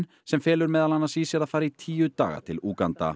sem felur meðal annars í sér að fara í tíu daga til Úganda